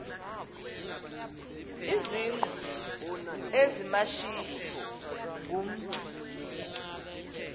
izingqu ezimashiyi ngumntu